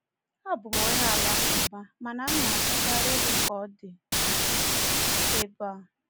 Abụ m onye Alakụba, mana m na-achọkarị ịhụ ka ọ dị ebe a.